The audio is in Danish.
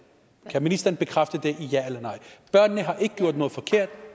kan ministeren bekræfte det et ja eller nej børnene har ikke gjort noget forkert